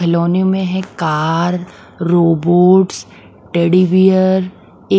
खिलौनों में है कार रोबोट्स टेडी बियर ए--